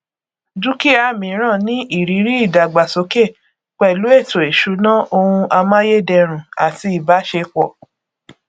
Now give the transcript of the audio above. dúkìá míràn ní ìrírí ìdàgbàsókè pẹlú ètò ìṣúná ohun amáyèdẹrùn àti ìbáṣepọ